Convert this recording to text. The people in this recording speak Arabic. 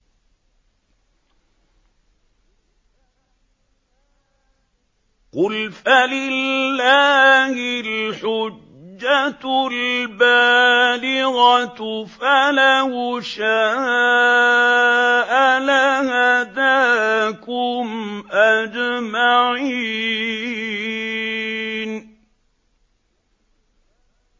قُلْ فَلِلَّهِ الْحُجَّةُ الْبَالِغَةُ ۖ فَلَوْ شَاءَ لَهَدَاكُمْ أَجْمَعِينَ